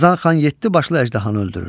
Qazan xan yeddi başlı əjdahanı öldürür.